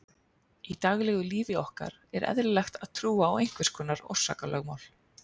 Í daglegu lífi okkar er eðlilegt að trúa á einhvers konar orsakalögmál.